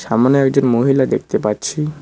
সামোনে একজন মহিলা দেখতে পাচ্ছি।